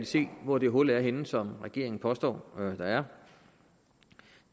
se hvor det hul er henne som regeringen påstår der er